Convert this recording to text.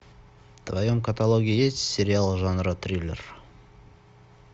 в твоем каталоге есть сериал жанра триллер